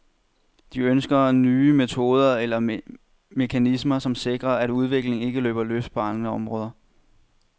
De ønsker nye metoder eller mekanismer, som sikrer, at udviklingen ikke løber løbsk på andre områder.